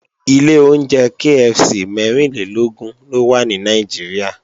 Ilé oúnjẹ KFC mẹ́rìnlélógún ló wà ní Nàìjíríà